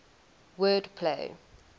word play